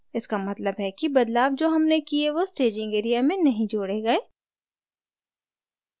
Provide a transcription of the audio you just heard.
इसका मतलब है कि बदलाव जो हमने किये वो staging area में नहीं जोड़े गए